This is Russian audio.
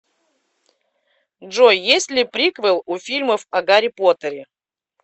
джой есть ли приквел у фильмов о гарри поттере